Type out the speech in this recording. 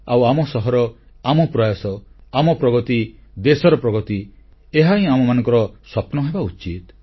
ଆଉ ଆମ ସହର ଆମ ପ୍ରୟାସ ଆମ ପ୍ରଗତି ଦେଶର ପ୍ରଗତି ଏହାହିଁ ଆମମାନଙ୍କର ସ୍ୱପ୍ନ ହେବା ଉଚିତ